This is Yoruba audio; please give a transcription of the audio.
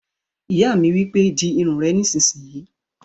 Ìyá mi wípé, "Di irun rẹ nísìínyi!"